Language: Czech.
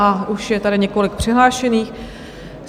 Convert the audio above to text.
A už je tady několik přihlášených.